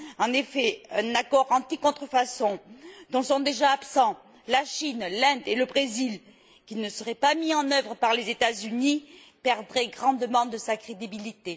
En effet, un accord anti contrefaçon dont sont déjà absents la Chine, l'Inde et le Brésil, et qui ne serait pas mis en œuvre par les États Unis, perdrait grandement de sa crédibilité.